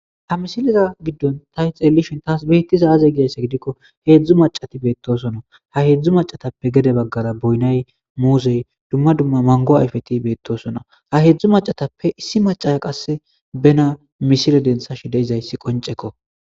Ha misileza giddon ta hi xeellishin taas beettiza aze gidayssa gidikko heedzdzu macati beettosona ha heedzdzu macatappe gede baggara boynay muusey dumma dumma mango ayfeti beettosona ha heedzdzu macatappe issi macaya qasse bena misile dentha shideizayssi qoncekko.